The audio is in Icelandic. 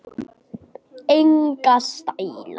Enga stæla